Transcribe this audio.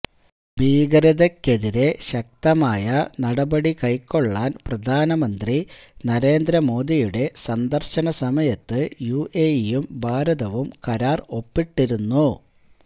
ഭീകരതയ്ക്കെതിരെ ശക്തമായ നടപടി കൈക്കൊള്ളാന് പ്രധാനമന്ത്രി നരേന്ദ്ര മോദിയുടെ സന്ദര്ശന സമയത്ത് യുഎഇയും ഭാരതവും കരാര് ഒപ്പിട്ടിരുന്നു